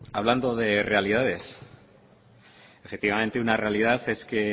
hablando de realidades efectivamente una realidad es que